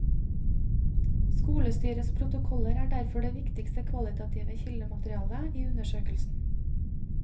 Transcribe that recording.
Skolestyrets protokoller er derfor det viktigste kvalitative kildematerialet i undersøkelsen.